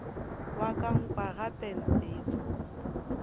wa ka nkwa gape ntseba